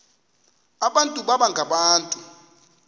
abantu baba ngabantu